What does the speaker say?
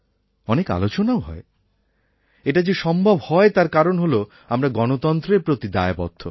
অনেক আলোচনাও হয় এটা যে সম্ভব হয় তার কারণ হল আমরা গণতন্ত্রের প্রতি দায়বদ্ধ